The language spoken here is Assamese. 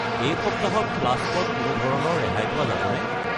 এই সপ্তাহত ফ্লাস্ক ত কোনো ধৰণৰ ৰেহাই পোৱা যাবনে?